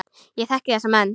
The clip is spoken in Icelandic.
Ég þekki þessa menn.